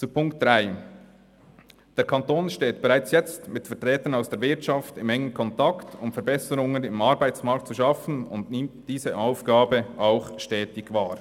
Zu Ziffer 3: Der Kanton steht bereits jetzt mit Vertretern aus der Wirtschaft in engem Kontakt, um Verbesserungen im Arbeitsmarkt zu schaffen, und nimmt diese Aufgabe auch stetig wahr.